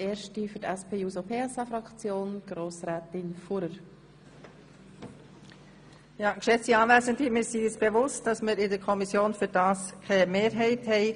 Wir sind uns bewusst, dass wir in der Kommission keine Mehrheit für dieses Ansinnen gefunden haben.